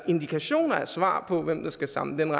indikationer af svar på hvem der skal samle den